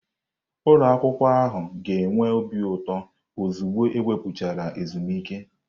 Ụlọ akwụkwọ ahụ ga-enwe obi ụtọ ozugbo ekwuputachara ezumike.